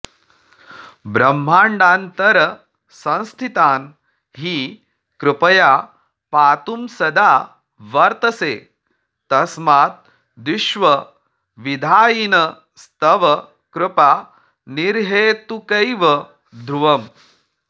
ब्रह्माण्डान्तरसंस्थितान् हि कृपया पातुं सदा वर्तसे तस्माद्विश्वविधायिनस्तव कृपा निर्हेतुकैव ध्रुवम्